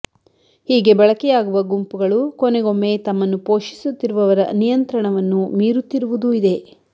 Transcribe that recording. ಹೀಗೆ ಬಳಕೆಯಾಗುವ ಗುಂಪುಗಳು ಕೊನೆಗೊಮ್ಮೆ ತಮ್ಮನ್ನು ಪೋಷಿಸುತ್ತಿರುವವರ ನಿಯಂತ್ರಣವನ್ನು ಮೀರುತ್ತಿರುವುದೂ ಇದೆ